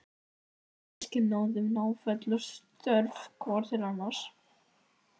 Við systkinin lítum náföl og stjörf hvort til annars.